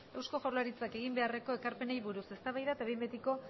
eusko jaurlaritzak egin beharreko ekarpenei buruz eztabaida eta behin betiko